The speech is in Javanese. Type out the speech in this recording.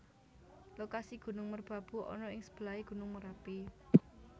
Lokasi Gunung Merbabu ana ing sebelahé Gunung Merapi